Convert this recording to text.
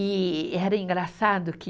E era engraçado que